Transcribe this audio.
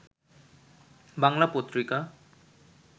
Bangla Patrika